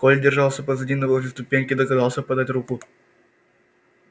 коля держался позади но возле ступеньки догадался подать руку